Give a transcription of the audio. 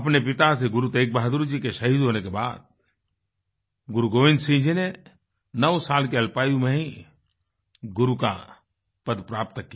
अपने पिता श्री गुरु तेगबहादुर जी के शहीद होने के बाद गुरुगोबिंद सिंह जी ने 9 साल की अल्पायु में ही गुरु का पद प्राप्त किया